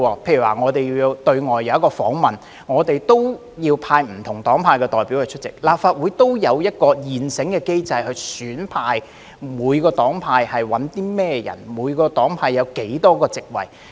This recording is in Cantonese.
例如我們要到外地進行訪問，需要派不同黨派的代表參與，立法會便有一個現成的機制，決定每個黨派選派甚麼人、有多少個席位。